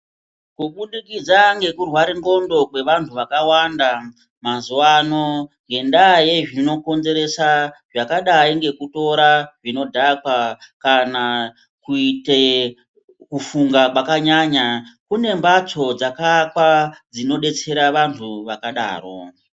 Kubudikidza ngeku rware ndxondo kwe vantu vakawanda mazuvano ngenda ye zvinokonzeresa zvakadai ngekutora zvinodhaka kana kuite kufunga kwanyanya kune mbatso dzaka akwa dzino detsera antu akadaro.